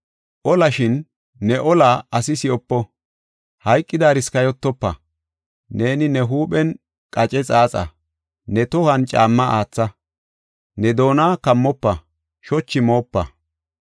Oola, shin ne ooliya asi si7opo; hayqidaaris kayotofa. Neeni ne huuphen qace xaaxa; ne tohuwan caamma aatha. Ne doona kammofa; shochi moopa.”